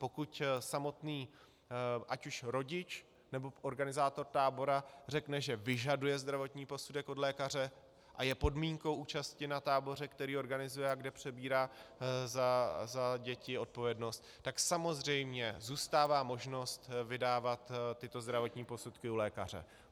Pokud samotný ať už rodič, nebo organizátor tábora řekne, že vyžaduje zdravotní posudek od lékaře a je podmínkou účasti na táboře, který organizuje a kde přebírá za děti odpovědnost, tak samozřejmě zůstává možnost vydávat tyto zdravotní posudky u lékaře.